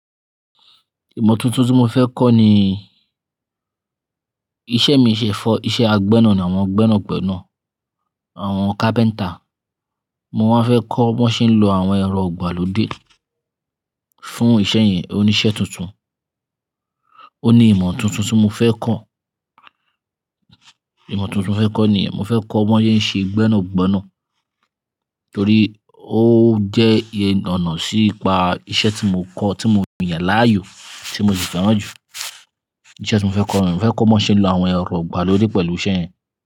Ìmọ̀ tuntun tí mo fẹ́ kọ́ ni iṣẹ́ mi ìṣẹ́ fọ́, iṣẹ́ agbénà ni àwọn gbẹ́nàgbẹ́nà, àwọn carpenter. Mo wá fẹ́ kọ́ bọn ṣe ń lo àwọn ẹ̀rọ igbàlódé fún iṣẹ́ yẹn oníṣẹ́ tuntun. Ó ní ìmọ̀ tuntun tí mo fẹ́ kọ̀. Ìmọ̀ tuntun mo fẹ́ kọ́ ni yen, mo fẹ́ kọ́ wọn yẹn ṣe gbẹ́nàgbẹ́nà torí ó jẹ́ iye ọ̀nà sí'ipa iṣẹ́ tí mo kọ́, tí mo ń yàn láàyò, tí mo sì fẹ́ràn jù. Iṣẹ́ tí mo fẹ́ kọ́, mo fẹ́ kọ́ wọn ṣe ń lo àwọn ẹ̀rọ igbàlódé pẹ̀lú iṣẹ́ yẹn.